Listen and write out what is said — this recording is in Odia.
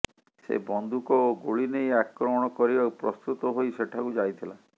ସେ ବନ୍ଧୁକ ଓ ଗୁଳି ନେଇ ଆକ୍ରମଣ କରିବାକୁ ପ୍ରସ୍ତୁତ ହୋଇ ସେଠାକୁ ଯାଇଥିଲା